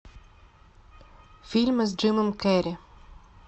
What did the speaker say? фильмы с джимом керри